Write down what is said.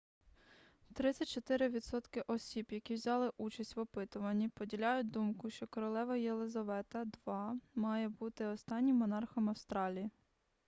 34 відсотки осіб які взяли участь в опитуванні поділяють думку що королева єлизавета ii має бути останнім монархом австралії